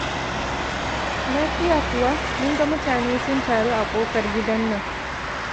Lafiya kuwa? Mun ga mutane sun taru a kofar gidan nan.